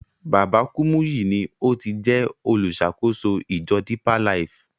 Baba Kúmúyì ni o ti jẹ́ oluṣàkóso ìjọ Depeer Life.